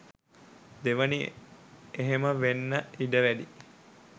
දෙවෙනි එහෙම වෙන්න ඉඩ වැඩියි.